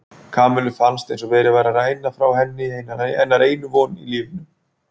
Kamillu fannst eins og verið væri að ræna frá sér hennar einu von í lífinu.